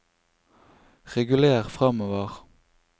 reguler framover